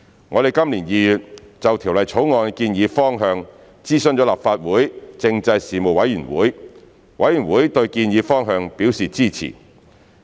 我們今年2月就《條例草案》的建議方向諮詢立法會政制事務委員會，委員對建議方向表示支持。